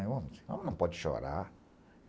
Um homem, homem não pode chorar